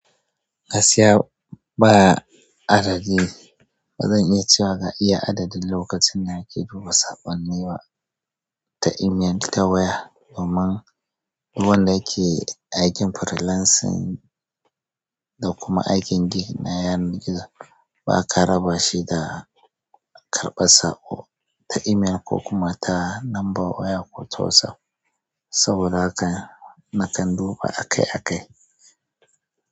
Gaskiya ba adadi, bazan iya cewa ga iya adadin lokacin da nake duba saƙonni ba ta email, ta waya, domin duk wanda yake aikin freelancing da kuma aikin gini na yanar gizo baka raba shi da karɓar saƙo. Ta email ko kuma ta namba waya ko ta WhatsApp saboda haka nakan duba akai-akai.